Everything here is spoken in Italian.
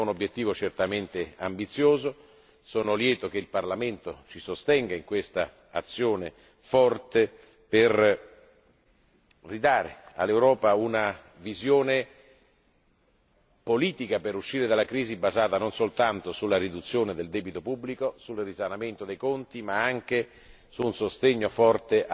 È un obiettivo certamente ambizioso e sono lieto che il Parlamento ci sostenga in questa azione forte per ridare all'Europa una visione politica per uscire dalla crisi, basata non soltanto sulla riduzione del debito pubblico e sul risanamento dei conti, ma anche su un sostegno forte